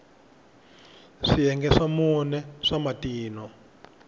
swiyenge swa mune swa matino